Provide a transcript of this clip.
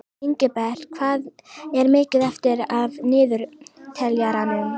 Ingibert, hvað er mikið eftir af niðurteljaranum?